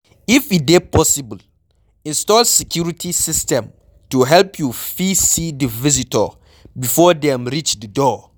If e dey possible, install security system to help you fit see di visitor before dem reach di door